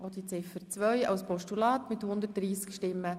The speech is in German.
Sie haben Ziffer 2 als Postulat angenommen.